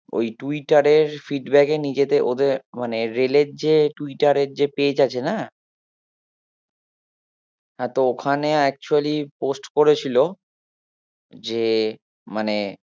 ওই টুইটারের feedback এর নিজেদের ওদের মানে রেলের যে টুইটারের যে page আছে না হ্যাঁ তো ওখানে actually post করেছিল যে মানে